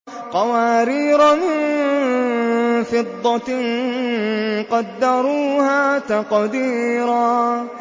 قَوَارِيرَ مِن فِضَّةٍ قَدَّرُوهَا تَقْدِيرًا